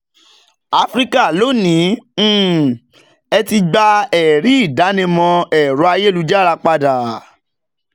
áfíríkà lónìí um ẹ ti gba ẹ̀rí ìdánimọ̀ ẹ̀rọ ayélujára padà.